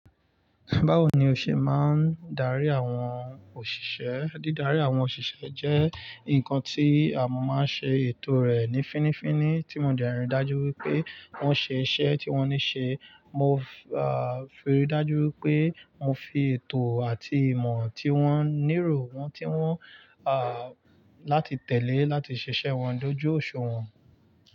Báwo ni o ṣe máa ń darí àwọn òṣìṣẹ́? Dídarí àwọn òṣìṣẹ́ jẹ́ nǹkan tí a máa ń ṣe ètò rẹ̀ ní fínnífínní, tí mo jẹ́ rí i dájú wí pé wọ́n ṣe iṣẹ́ tí wọ́n ní ṣe. Mo, ah, fi rí i dájú wípé mo fi ètò àti ìmọ̀ tí wọ́n níro wọ́n tí wọ́n, ah, láti tẹ̀lé láti ṣiṣẹ́ wọn dojú òṣùwọ̀n.